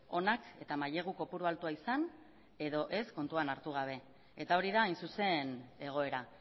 onak eta mailegu kopurua altua izan edo ez kontuan hartu gabe eta hori da hain zuzen egoera